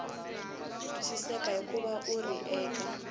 twisiseki hikuva wu ri eka